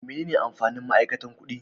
Menene amfanin ma'aikata kuɗi?